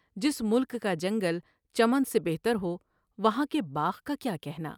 جس ملک کا جنگل چمن سے بہتر ہو ، وہاں کے باغ کا کیا کہنا ۔